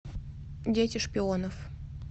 дети шпионов